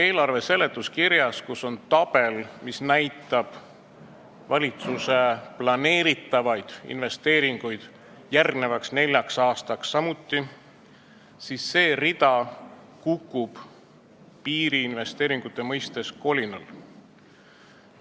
Eelarve seletuskirjas on tabel, mis näitab valitsuse plaanitavaid investeeringuid järgmiseks neljaks aastaks, ja me näeme, et see rida kukub piiriinvesteeringute koha pealt kolinal.